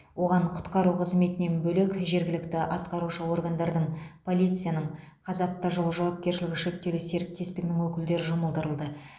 оған құтқару қызметінен бөлек жергілікті атқарушы органдардың полицияның қазавтожол жауапкершілігі шектеулі серіктестігінің өкілдері жұмылдырылды